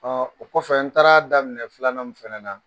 Ɔ o kɔfɛ n taara daminɛ filanan mi fɛnɛ na.